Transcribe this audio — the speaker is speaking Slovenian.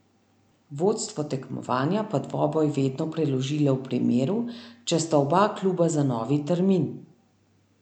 Vodstvo tekmovanja pa dvoboj vedno preloži le v primeru, če sta oba kluba za novi termin.